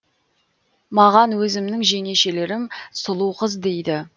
маған өзімнің жеңешелерім сұлуқыз дейді